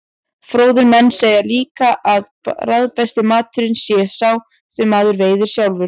Fróðir menn segja líka að bragðbesti maturinn sé sá sem maður veiðir sjálfur.